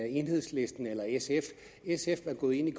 enhedslisten eller sf sf er gået ind